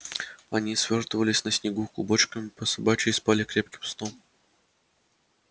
они свёртывались на снегу клубочком по собачьи и спали крепким сном